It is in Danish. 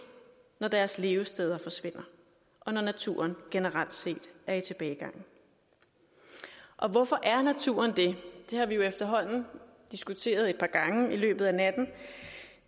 når deres levesteder forsvinder og når naturen generelt set er i tilbagegang hvorfor er naturen det det har vi jo efterhånden diskuteret et par gange i løbet af natten